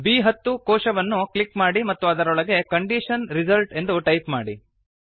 ಬ್10 ಕೋಶವನ್ನು ಕ್ಲಿಕ್ ಮಾಡಿ ಮತ್ತು ಅದರೊಳಗೆ ಕಂಡೀಷನ್ ರಿಸಲ್ಟ್ ಎಂದು ಟೈಪ್ ಮಾಡಿ